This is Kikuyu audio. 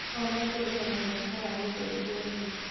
O mũndũ ena mweke wa gũcenjia thĩ.